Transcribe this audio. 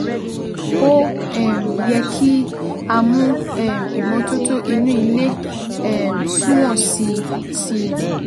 Ó um yẹ kí a mú um ìmọ́tótó inú ilé um sunwọ̀n sí i sí i